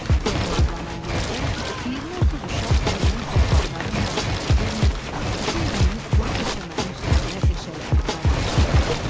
Ferma adlanan yerdə 20-30 uşaq yemək və paltarın nə olduğunu bilmir, bütün günü quru döşəmənin üstündə eşələnib qaynaşırdı.